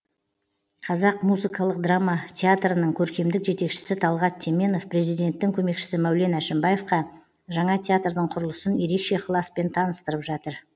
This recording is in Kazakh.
қазақ музыкалық драма театрының көркемдік жетекшісі талғат теменов президенттің көмекшісі мәулен әшімбаевқа жаңа театрдың құрылысын ерекше ықыласпен таныстырып жатыр